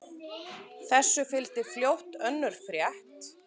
Þessu fylgdi fljótt önnur frétt